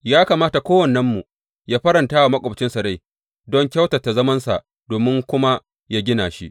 Ya kamata kowannenmu yă faranta wa maƙwabcinsa rai don kyautata zamansa domin kuma yă gina shi.